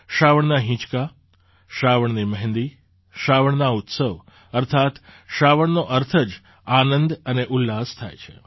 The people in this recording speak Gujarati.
શ્રાવણના હિંચકા શ્રાવણની મહેંદી શ્રાવણના ઉત્સવ અર્થાત્ શ્રાવણનો અર્થ જ આનંદ અને ઉલ્લાસ થાય છે